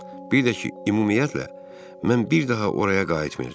Bir də ki, ümumiyyətlə, mən bir daha oraya qayıtmayacağam.